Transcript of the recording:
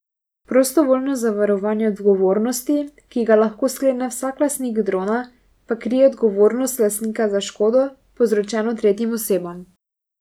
Prostovoljno zavarovanje odgovornosti, ki ga lahko sklene vsak lastnik drona, pa krije odgovornost lastnika za škodo, povzročeno tretjim osebam.